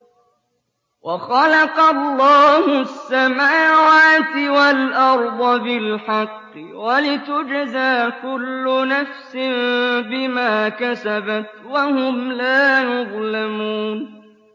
وَخَلَقَ اللَّهُ السَّمَاوَاتِ وَالْأَرْضَ بِالْحَقِّ وَلِتُجْزَىٰ كُلُّ نَفْسٍ بِمَا كَسَبَتْ وَهُمْ لَا يُظْلَمُونَ